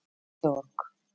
Georg